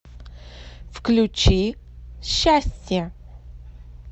включи счастье